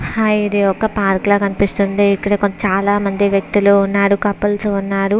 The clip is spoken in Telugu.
హాయ్ ఇది ఒక పార్క్ లాగా కనిపిస్తుంది. ఇక్కడ చాలా మంది వ్యక్తులు ఉన్నారు కపుల్స్ ఉన్నారు.